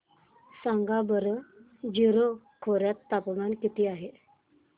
सांगा बरं जीरो खोर्यात तापमान किती आहे